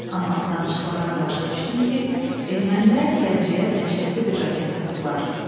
Amma danışıqlardan başa düşdüm ki, ermənilər Gəncəyə dəhşətli bir raket atıblar.